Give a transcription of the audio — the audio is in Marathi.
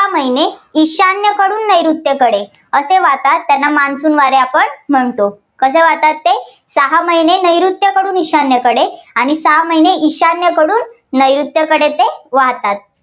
सहा महिने ईशान्येकडून नैऋत्येकडे असे वाहतात, त्यांना monsoon वारे आपण म्हणतो. कसे वाहतात ते सहा महिने नैऋत्येकडून ईशान्येकडे आणि सहा महिने ईशान्येकडून नैऋत्येकडे ते वाहतात.